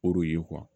O de ye